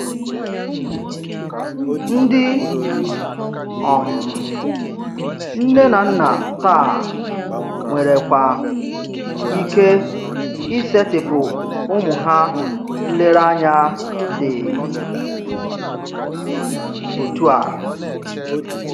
Ndí um nne na nna tàá nwèrèkwà ike isètị̀pụ̀ ụ́mụ́ ha ǹlérèànyà dị́ otú à.